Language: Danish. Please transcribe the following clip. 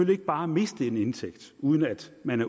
ikke bare miste en indtægt uden at man